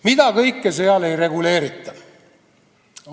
Mida kõike seal ei reguleerita!